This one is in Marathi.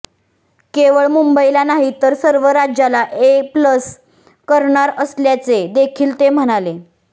केवळ मुंबईला नाही तर सर्व राज्याला ए प्लस करणार असल्याचे देखील ते म्हणाले